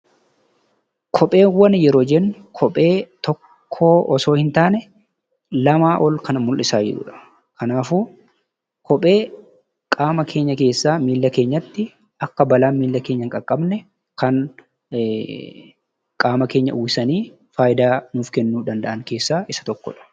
Kopheewwan yeroo jennu kophee tokko osoo hin taane, lamaa ol kan mul'isaa jiruu dha. Kanaafuu, kophee qaama keenya keessaa miila keenyatti akka balaan miila keenya hin qaqqabne kan qaama keenya uwwisanii faayidaa nuuf kennuu danda'an keessaa isa tokko dha.